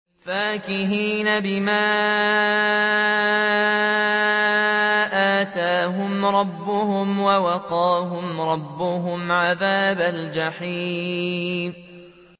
فَاكِهِينَ بِمَا آتَاهُمْ رَبُّهُمْ وَوَقَاهُمْ رَبُّهُمْ عَذَابَ الْجَحِيمِ